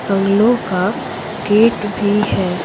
बंगलों का गेट भी है।